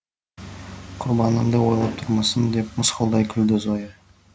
құрбаныңды ойлап тұрмысың деп мысқылдай күлді зоя